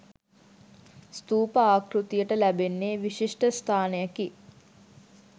ස්ථූප ආකෘතියට ලැබෙන්නේ විශිෂ්ට ස්ථානයකි.